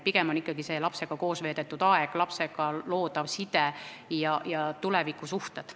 Pigem on olulised ikkagi lapsega koos veedetud aeg, lapsega loodav side ja tekkivad tulevikusuhted.